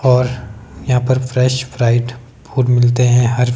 और यहां पे फ्रेश फ्राइड फूड मिलते हैं हर--